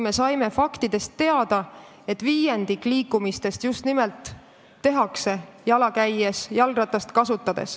Me saime teada fakti, et viiendik liikumistest tehakse jala või jalgrattaga.